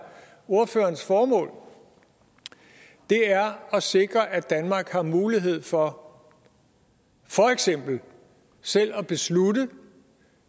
ordførerens formål er at sikre at danmark har mulighed for for eksempel selv at beslutte